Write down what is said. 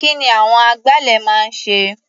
Kí ni àwọn agbálẹ̀ máa ń ṣe?